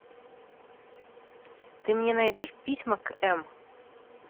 ты мне найдешь письма к м